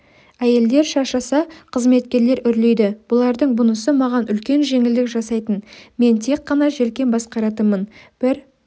әйелдер шаршаса қызметкерлер үрлейді бұлардың бұнысы маған үлкен жеңілдік жасайтын мен тек қана желкен басқаратынмын бір